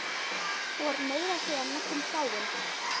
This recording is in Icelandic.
Hún var meira að segja næstum dáin.